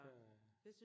Der